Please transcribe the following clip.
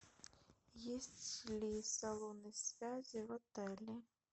есть ли салоны связи в отеле